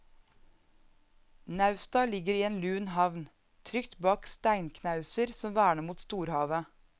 Nausta ligger i en lun havn, trygt bak steinknauser som verner mot storhavet.